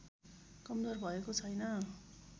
कमजोर भएको छैन